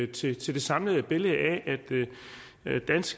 til det samlede billede af at dansk